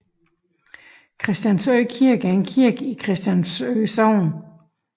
Christiansø Kirke er en kirke i Christiansø Sogn